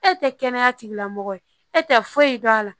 E tɛ kɛnɛya tigilamɔgɔ ye e tɛ foyi dɔn a la